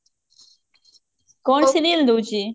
କଣ serial ଦଉଛି?